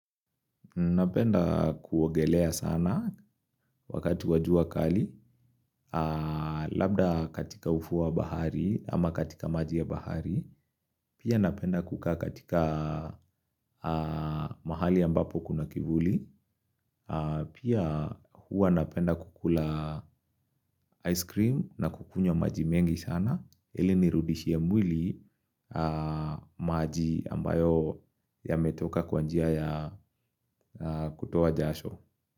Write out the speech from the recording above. Napenda kuogelea sana wakati wajua kali, labda katika ufuo wa bahari ama katika maji ya bahari, pia napenda kukaa katika mahali ambapo kuna kivuli, pia huwa napenda kukula ice cream na kukunya maji mengi sana, ili nirudishie mwili maji ambayo ya metoka kwanjia ya kutowa jasho.